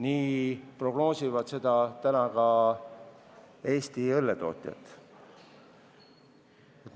Seda prognoosivad praegu ka Eesti õlletootjad.